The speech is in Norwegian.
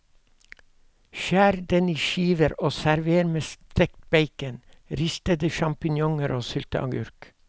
Skjær den i skiver og server med stekt bacon, ristede sjampinjonger og sylteagurk.